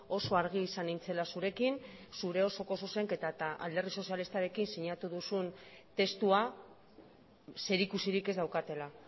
oso argi izan nintzela zurekin zure osoko zuzenketa eta alderdi sozialistarekin sinatu duzun testua zerikusirik ez daukatela